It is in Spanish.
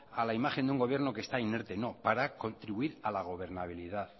a la imagen de un gobierno que está inerte no para contribuir a la gobernabilidad